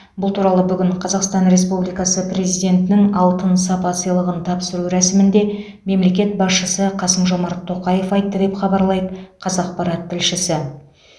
бұл туралы бүгін қазақстан республикасы президентінің алтын сапа сыйлығын тапсыру рәсімінде мемлекет басшысы қасым жомарт тоқаев айтты деп хабарлайды қазақпарат тілшісі